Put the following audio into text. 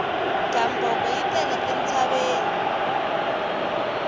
gamboko yi tele entshaveni